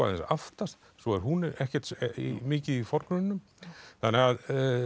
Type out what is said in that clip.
aftast svo er hún ekkert mikið í forgrunninum þannig að